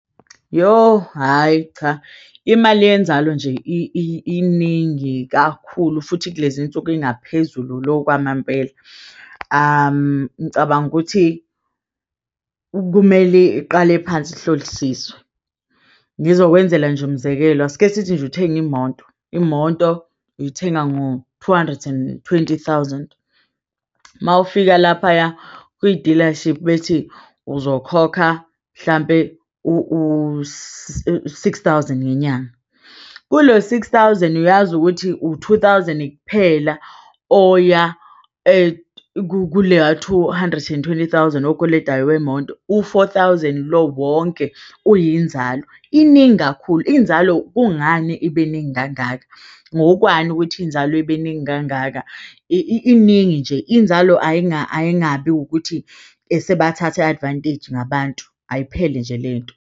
Yoh, hhayi cha, imali yenzalo nje iningi kakhulu futhi kulezi nsuku ingaphezulu lokhu kwamampela, ngicabanga ukuthi kumele iqale phansi ihlolisiswe ngizokwenzela nje umzekelo. Asike sithi nje uthenga imoto, imoto uyithenga ngo-two hundred and twenty thousand mawufika laphaya kwi-dealership bethi uzokhokha mhlampe u-six thousand ngenyanga kulo-six thousand uyazi ukuthi u-two thousand, kuphela oya kuleya two hundred and twenty thousand okweletayo wemoto u-four thousand lo wonke kuyinzalo iningi kakhulu, inzalo. Kungani ibe ningi kangaka ngokwani ukuthi inzalo ibeningi kangaka? Iningi nje inzalo ayingabe ukuthi sebathathe advantage ngabantu, ayiphelele nje lento.